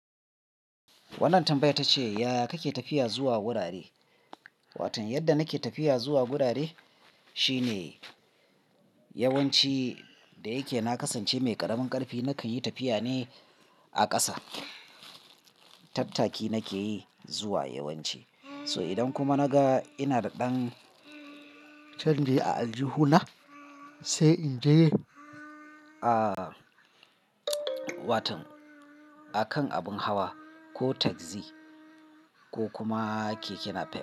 Wannan tambaya tace, ya kake tafiya zuwa wurare? Watan yadda nake tafiya zuwa wurare shine yawanci da yake na kasance mai ƙaramin ƙarfi, na kan yi tafiya ne a ƙasa. Tattaki nake yi zuwa yawanci. So idan kuma naga ina da ɗan canji a aljihuna, sai in je a waton a kan abin hawa ko tagzi ko kuma keke napep.